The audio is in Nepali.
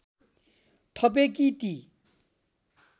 थपे कि ती